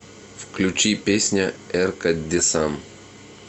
включи песня эрка десам